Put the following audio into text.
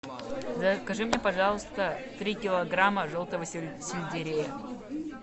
закажи мне пожалуйста три килограмма желтого сельдерея